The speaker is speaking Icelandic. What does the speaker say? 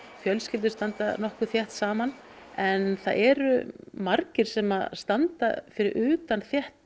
fjölskyldur standa nokkuð þétt saman en það eru margir sem standa fyrir utan þétt